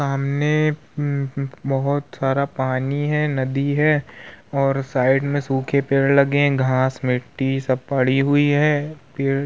सामने उम्म बोहोत सारा पानी है नदी है और साइड में सूखे पेड़ लगे हैं। घास मिट्टी सब पड़ी हुई है। पेड़ --